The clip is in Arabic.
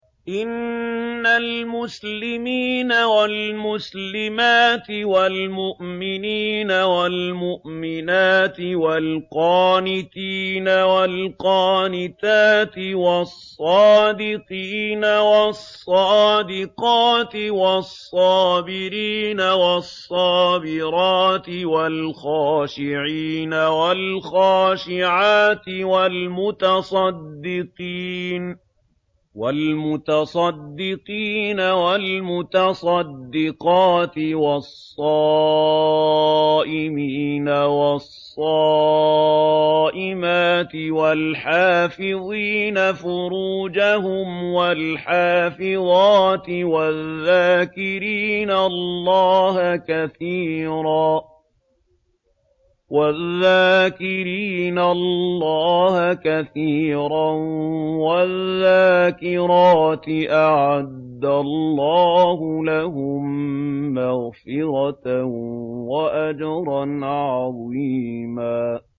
إِنَّ الْمُسْلِمِينَ وَالْمُسْلِمَاتِ وَالْمُؤْمِنِينَ وَالْمُؤْمِنَاتِ وَالْقَانِتِينَ وَالْقَانِتَاتِ وَالصَّادِقِينَ وَالصَّادِقَاتِ وَالصَّابِرِينَ وَالصَّابِرَاتِ وَالْخَاشِعِينَ وَالْخَاشِعَاتِ وَالْمُتَصَدِّقِينَ وَالْمُتَصَدِّقَاتِ وَالصَّائِمِينَ وَالصَّائِمَاتِ وَالْحَافِظِينَ فُرُوجَهُمْ وَالْحَافِظَاتِ وَالذَّاكِرِينَ اللَّهَ كَثِيرًا وَالذَّاكِرَاتِ أَعَدَّ اللَّهُ لَهُم مَّغْفِرَةً وَأَجْرًا عَظِيمًا